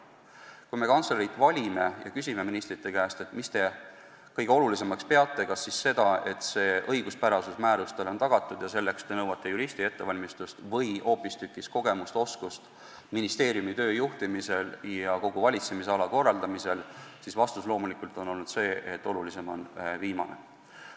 Kui me kantslerit valime ja küsime ministrite käest, mida te kõige olulisemaks peate, kas seda, et määruste õiguspärasus on tagatud, ja selleks te nõuate juristi ettevalmistust, või hoopis kogemusi ja oskust ministeeriumi tööd juhtida ja kogu valitsemisala korraldada, siis vastus loomulikult on olnud see, et olulisem on viimane.